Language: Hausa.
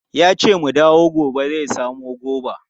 Yace mu dawo gobe zai samu goba.